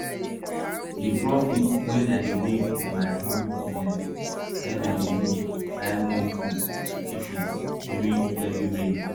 the profit wey i dey make from my honey business na him i dey use buy more food for my chickens during heavy rain